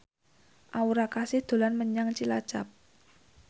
Aura Kasih dolan menyang Cilacap